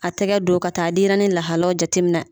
A tɛgɛ don ka taa denyɛrɛnin lahalaw jateminɛ.